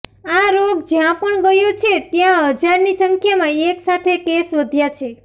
આ રોગ જ્યાં પણ ગયો છે ત્યાં હજારની સંખ્યામાં એક સાથે કેસ વધ્યા છે